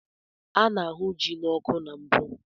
A na-ahu ji n'ọkụ na mbụ.